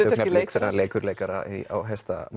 þegar hann leikur leikara á